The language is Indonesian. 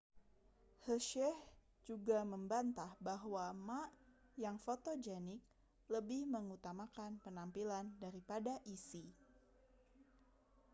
hsieh juga membantah bahwa ma yang fotogenik lebih mengutamakan penampilan daripada isi